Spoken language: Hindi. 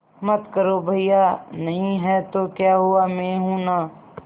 मत करो भैया नहीं हैं तो क्या हुआ मैं हूं ना